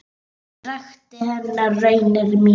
Ég rakti henni raunir mínar.